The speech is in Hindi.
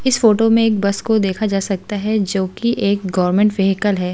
इस फोटो में एक बस को देखा जा सकता है जो कि एक गवर्नमेंट वेहीकल है।